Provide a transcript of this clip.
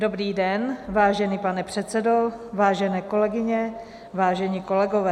Dobrý den, vážený pane předsedo, vážené kolegyně, vážení kolegové.